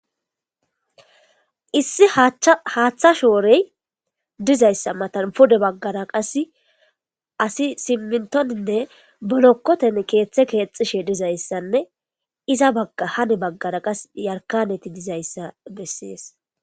Issi haaththa shoorey dizayssa matan pude baggara qas asi simmintoninne bolokkoten keeththe keexishe dizayssanne iza bagga hane baggara qas yarkaneti dizayssa bessies